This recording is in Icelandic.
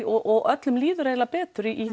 og öllum líður eiginlega betur í